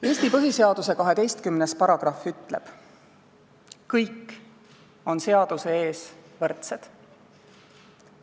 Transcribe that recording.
Eesti põhiseaduse 12. paragrahv ütleb: "Kõik on seaduse ees võrdsed.